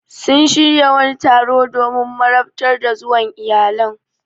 Sun shirya wani taro domin marabtar ta zuwa iyalan.